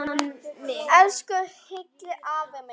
Elsku Hilli afi minn.